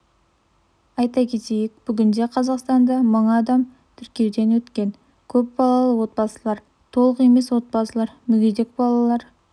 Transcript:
айта кетейік бүгінде қазақстанда мың адам тіркеуден өткен көп балалы отбасылар толық емес отбасылар мүгедек балалары